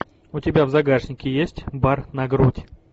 у тебя в загашнике есть бар на грудь